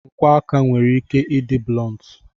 Nkwọ aka nwere ike ịdị blọntu.